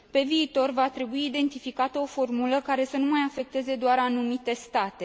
Pe viitor, va trebui identificată o formulă care să nu mai afecteze doar anumite state.